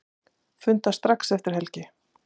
Funda strax eftir helgi